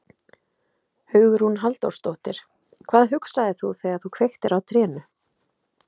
Hugrún Halldórsdóttir: Hvað hugsaðir þú þegar þú kveiktir á trénu?